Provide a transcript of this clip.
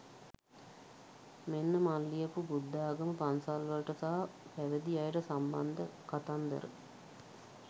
මෙන්න මං ලියපු බුද්ධාගම පන්සල්වලට සහ පැවිදි අයට සම්බන්ධ කතන්දර.